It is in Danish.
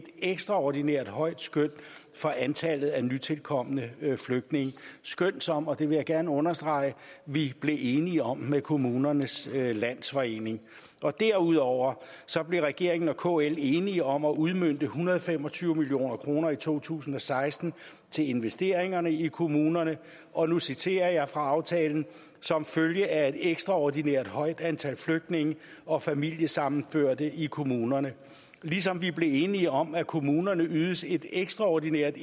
ekstraordinært højt skøn for antallet af nytilkomne flygtninge et skøn som og det vil jeg gerne understrege vi blev enige om med kommunernes landsforening derudover blev regeringen og kl enige om at udmønte en hundrede og fem og tyve million kroner i to tusind og seksten til investeringer i kommunerne og nu citerer jeg fra aftalen som følge af et ekstraordinært højt antal flygtninge og familiesammenførte i kommunerne ligesom vi blev enige om at kommunerne ydes et ekstraordinært